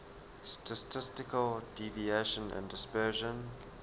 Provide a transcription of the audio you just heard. statistical deviation and dispersion